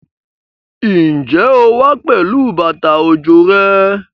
Ǹjẹ́ o wá pẹ̀lú bàtà òjò rẹ?